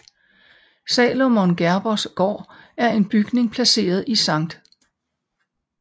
Salomon Gerbers Gård er en bygning placeret i Sct